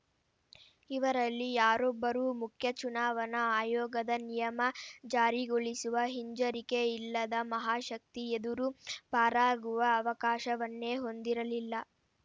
ಇವರಲ್ಲಿ ಯಾರೊಬ್ಬರೂ ಮುಖ್ಯ ಚುನಾವಣಾ ಆಯೋಗದ ನಿಯಮ ಜಾರಿಗೊಳಿಸುವ ಹಿಂಜರಿಕೆಯಿಲ್ಲದ ಮಹಾಶಕ್ತಿಯೆದುರು ಪಾರಾಗುವ ಅವಕಾಶವನ್ನೇ ಹೊಂದಿರಲಿಲ್ಲ